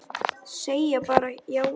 Segja bara já og amen.